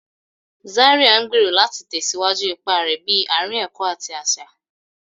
Zaria ngbero láti tẹsiwaju ipá rẹ bi aarin ẹkọ ati aṣa.